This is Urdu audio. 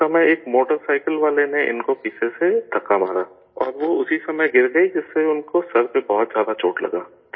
اس وقت ایک موٹر سائیکل والے نے ان کو پیچھے سے دھکہ مارا اور وہ اسی وقت گر گئیں جس سے ان کو سر پہ بہت زیادہ چوٹ لگا